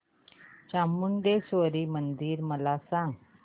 चामुंडेश्वरी मंदिर मला सांग